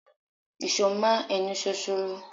Ìṣọ́ máa ń ẹnu ṣoṣoro.